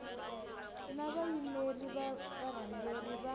na vayimeri va varhangeri va